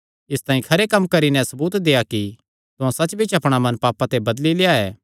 इसतांई खरे कम्म करी नैं सबूत देआ कि तुहां सच्च बिच्च अपणा मन पापां ते बदली लेआ ऐ